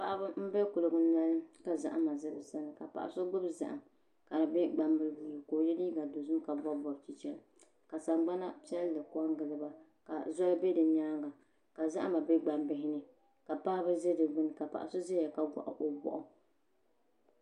Paɣaba n bɛ kuligi noli ka zahama bɛ dinni ka paɣa so gbubi zaham ka di bɛ gbambili puuni ka o yɛ liiga dozim ka bob bobi chichɛla ka sagbana piɛlli ko n giliba ka zoli bɛ di nyaanga ka zahama bɛ gbambihi ka paɣaba ʒɛ di gbuni ka paɣa so ʒɛya ka koɣa o boɣu